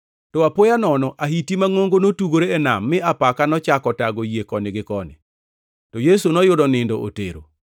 To apoya nono, ahiti mangʼongo notugore e nam, mi apaka nochako tago yie koni gi koni. To Yesu noyudo nindo otero.